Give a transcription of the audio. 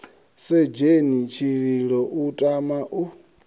sedzheni tshililo u tama u